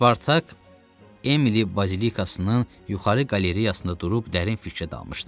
Spartak Emili bazilikasının yuxarı qalereyasında durub dərin fikrə dalmışdı.